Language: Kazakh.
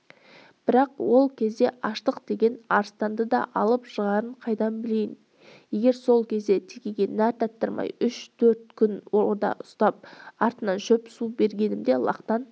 бірақ ол кезде аштық деген арыстанды да алып жығарын қайдан білейін егер сол кезде текеге нәр татырмай үш-төрт күн орда ұстап артынан шөп су бергенімде лақтан